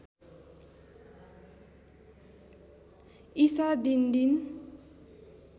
ईसा दिनदिन